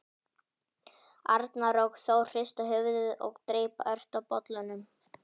Arnar og Þór hrista höfuðið og dreypa ört á bollunni.